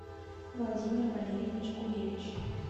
владимир валерьевич гуревич